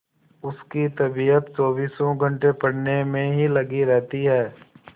उसकी तबीयत चौबीसों घंटे पढ़ने में ही लगी रहती है